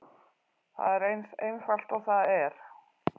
Það er eins einfalt og það er.